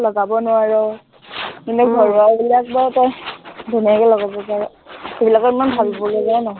লগাব নোৱাৰ, কিন্তু ঘৰুৱাবিলাক বাৰু তই ধুনীয়াকে লগাব পাৰ। সেইবিলাকত ইমান ভাবিলগীয়াও নহয়।